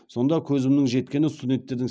сонда көзімнің жеткені студенттердің